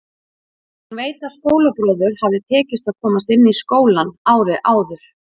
Hún veit að skólabróður hafði tekist að komast inn í skólann árið áður.